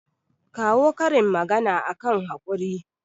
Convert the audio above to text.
kawo karin magana akan haƙuri